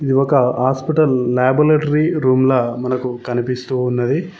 ఇది ఒక hospital laboratory రూమ్ల మనకు కనిపిస్తూ ఉన్నది.